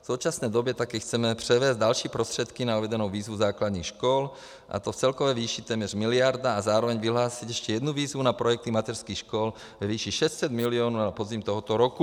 V současné době také chceme převést další prostředky na uvedenou výzvu základních škol, a to v celkové výši téměř miliarda, a zároveň vyhlásit ještě jednu výzvu na projekty mateřských škol ve výši 600 milionů na podzim tohoto roku.